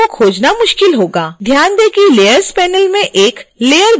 ध्यान दें कि layers panel में एक layer बनाई गई है